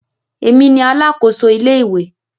Èmi ni alákòso ilé ìwé.